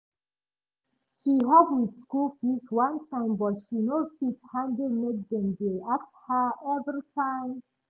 she help with school fees one time but she no fit handle make dem dey ask her every time